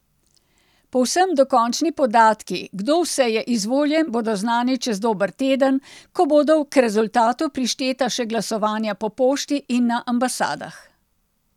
Povsem dokončni podatki, kdo vse je izvoljen, bodo znani čez dober teden, ko bodo k rezultatu prišteta še glasovanja po pošti in na ambasadah.